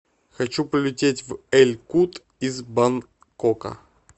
хочу полететь в эль кут из бангкока